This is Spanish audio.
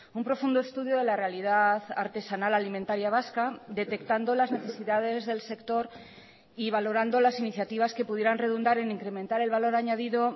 un profundo estudio de la realidad artesanal alimentaria vasca detectando las necesidades del sector y valorando las iniciativas que pudieran redundar en incrementar el valor añadido